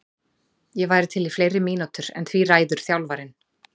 Ég væri til í fleiri mínútur en því ræður þjálfarinn.